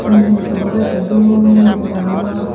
eh murti bo do ekke dol degongor.